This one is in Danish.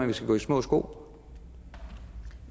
vi skal gå i små sko